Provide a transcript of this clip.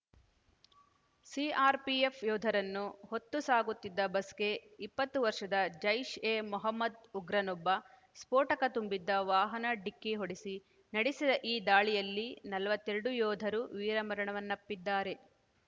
CRPF ಯೋಧರನ್ನು ಹೊತ್ತು ಸಾಗುತ್ತಿದ್ದ ಬಸ್‌ಗೆ ಇಪ್ಪತ್ತು ವರ್ಷದ ಜೈಷ್‌ ಎ ಮೊಹಮ್ಮದ್‌ ಉಗ್ರನೊಬ್ಬ ಸ್ಫೋಟಕ ತುಂಬಿದ್ದ ವಾಹನ ಡಿಕ್ಕಿ ಹೊಡೆಸಿ ನಡೆಸಿದ ಈ ದಾಳಿಯಲ್ಲಿ ನಲವತ್ತೆರಡು ಯೋಧರು ವೀರಮರಣವನ್ನಪ್ಪಿದ್ದಾರೆ